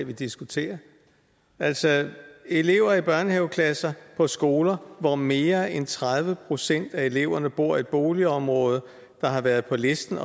vi diskuterer altså elever i børnehaveklasser på skoler hvor mere end tredive procent af eleverne bor i et boligområde der har været på listen